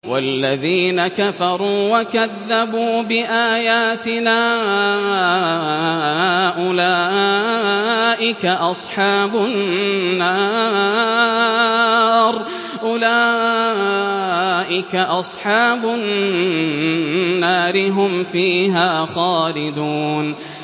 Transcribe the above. وَالَّذِينَ كَفَرُوا وَكَذَّبُوا بِآيَاتِنَا أُولَٰئِكَ أَصْحَابُ النَّارِ ۖ هُمْ فِيهَا خَالِدُونَ